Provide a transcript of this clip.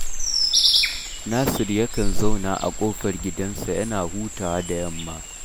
Nasir yakan zauna a ƙofar gidansa yana hutawa da yamma